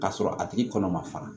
K'a sɔrɔ a tigi kɔnɔ ma fara